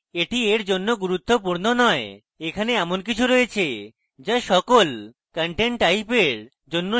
এটি এর জন্য গুরুত্বপূর্ণ নয় এখানে এমন কিছু রয়েছে যা সকল content type এর জন্য সুপারিশ করা হয়